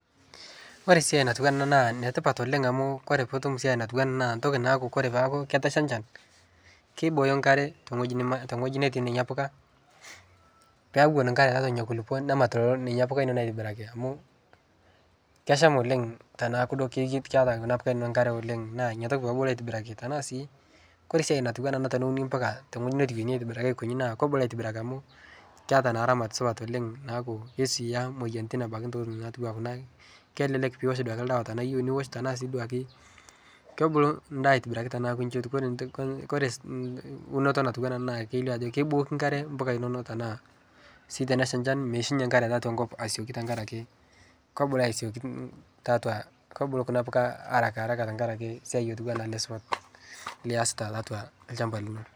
kore siai natuwa ana naa netipat oleng amu kore piitum siai natuwaa ana naa ntoki naaku kore peaku ketasha nchan keibooyo nkare te nghoji netii nenia puka peewon nkare taatua nenia kulipoo nemat nenia puka inono aitibiraki amu kesham oleng tanaaku duo keata kuna puka inono nkare oleng naa inia tokii pebuluu aitibiraki tanaa sii kore siai natuwana ana teneuni mpuka te ngoji netuwenyi aitibiraki aikonyi naa kobulu aitibiraki amu keata naa ramat supat oleng naaku keisuiyaa moyanitin abaki ntokitin natuwaa kuna kelelk piwosh duake ldawa tanaa iyeu niwosh tanaa sii duake kebulu ndaa aitibiraki tanaaku nchi etuu kore unotoo natuwana ana naa keilio ajo keibooki nkare mpuka inono tanaa sii teneshaa nchan meishunye nkare taatua nkop asioki tankarake kebulu asioki taatua kobulu kuna puka harakaharaka tankarake siai otuwana ale supat liasita taatua lshampa lino